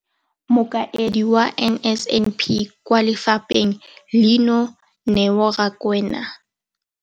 Mokaedi wa NSNP kwa lefapheng leno, Neo Rakwena.